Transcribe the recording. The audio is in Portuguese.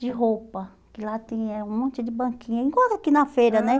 de roupa, que lá tem eh um monte de banquinha, igual aqui na feira, né? Aham